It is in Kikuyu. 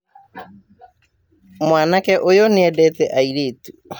Mwanake ũyũnĩendete airĩtu